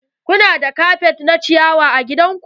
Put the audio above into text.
Ku na da kafet na ciyawa a gidan ku?